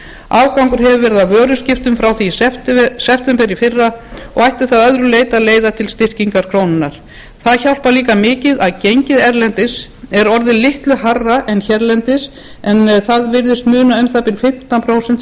afgangur hefur verið af vöruskiptum frá því í september í fyrra og ætti það að öðru leyti að leiða til styrkingar krónunnar það hjálpar líka mikið að gengið erlendis er orðið litlu hærra en hérlendis en það virðist muna um það bil fimmtán prósent